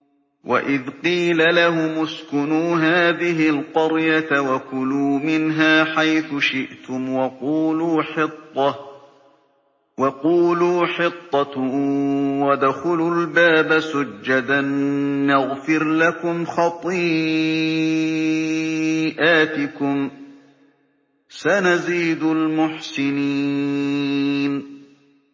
وَإِذْ قِيلَ لَهُمُ اسْكُنُوا هَٰذِهِ الْقَرْيَةَ وَكُلُوا مِنْهَا حَيْثُ شِئْتُمْ وَقُولُوا حِطَّةٌ وَادْخُلُوا الْبَابَ سُجَّدًا نَّغْفِرْ لَكُمْ خَطِيئَاتِكُمْ ۚ سَنَزِيدُ الْمُحْسِنِينَ